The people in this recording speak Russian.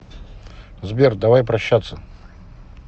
сбер давай прощаться